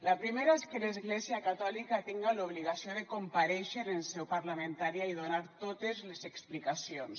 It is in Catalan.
la primera és que l’església catòlica tinga l’obligació de comparèixer en seu parlamentària i donar totes les explicacions